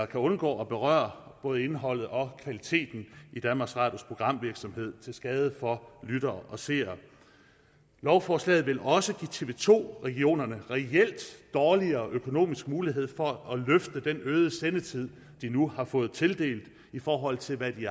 kan undgå at berøre både indholdet og kvaliteten i danmarks radios programvirksomhed til skade for lyttere og seere lovforslaget vil også give tv to regionerne reelt dårligere økonomisk mulighed for at løfte den øgede sendetid de nu har fået tildelt i forhold til hvad de